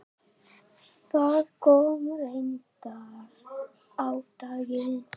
Það kom reyndar á daginn.